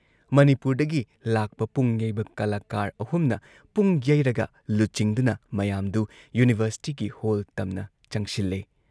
ꯃꯅꯤꯄꯨꯔꯗꯒꯤ ꯂꯥꯛꯄ ꯄꯨꯡ ꯌꯩꯕ ꯀꯂꯥꯀꯥꯔ ꯑꯍꯨꯝꯅ ꯄꯨꯡ ꯌꯩꯔꯒ ꯂꯨꯆꯤꯡꯗꯨꯅ ꯃꯌꯥꯝꯗꯨ ꯌꯨꯅꯤꯚꯔꯁꯤꯇꯤꯒꯤ ꯍꯣꯜ ꯇꯝꯅ ꯆꯪꯁꯤꯜꯂꯦ ꯫